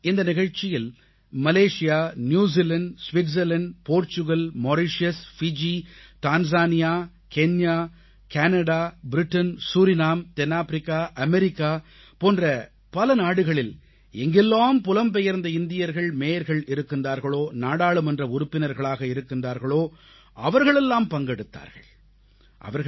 இந்த நிகழ்ச்சியில் Malaysia New Zealand Switzerland Portugal Mauritius Fiji Tanzania Kenya Canada Britain Suriname தென்னாப்பிரிக்கா America போன்ற பல நாடுகளில் எங்கெல்லாம் புலம்பெயர்ந்த இந்தியர்கள் மேயர்கள் இருக்கிறார்களோ நாடாளுமன்ற உறுப்பினர்களாக இருக்கிறார்களோ அவர்களெல்லாம் பங்கெடுத்தார்கள்